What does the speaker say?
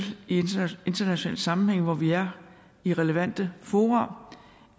i internationale sammenhænge hvor vi er i relevante fora